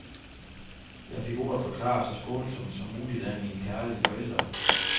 Jeg fik ordet forklaret så skånsomt som muligt af mine kærlige forældre.